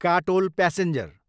Katol passenger